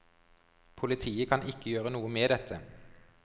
Politiet kan ikke gjøre noe med dette.